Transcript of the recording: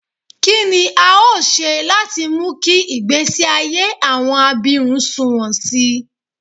Kí ni a óò ṣe láti mú kí ìgbésí ayé àwọn abirùn sunwọ̀n sí i?